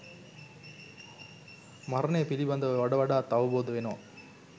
මරණය පිළිබඳව වඩ වඩාත් අවබෝධ වෙනවා.